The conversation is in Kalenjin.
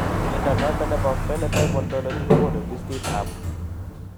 Mnyondo noton nebo Phenotype Ontology kogonu listiit ab